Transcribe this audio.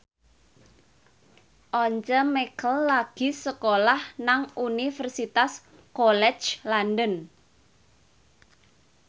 Once Mekel lagi sekolah nang Universitas College London